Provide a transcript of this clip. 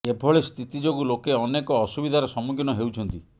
ଏଭଳି ସ୍ଥିତି ଯୋଗୁ ଲୋକେ ଅନେକ ଅସୁବିଧାର ସମ୍ମୁଖୀନ ହେଉଛନ୍ତି